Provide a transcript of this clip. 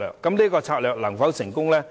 這個策略能否成功？